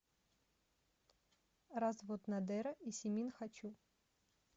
развод надера и симин хочу